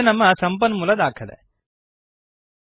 ಇದು ನಮ್ಮ ಸಂಪನ್ಮೂಲ ದಾಖಲೆಡಾಕ್ಯುಮೆಂಟ್